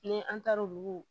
Ni an taar'olu